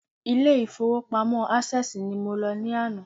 Ilé ìfowópamọ́ Access ni mo lọ ní àná